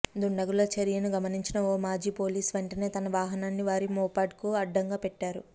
దుండగుల చర్యను గమనించిన ఓ మాజీ పోలీసు వెంటనే తన వాహనాన్ని వారి మోపెడ్కు అడ్డంగా పెట్టారు